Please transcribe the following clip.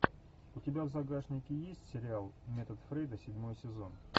у тебя в загашнике есть сериал метод фрейда седьмой сезон